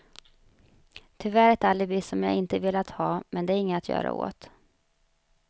Tyvärr ett alibi som jag inte velat ha, men det är inget att göra åt.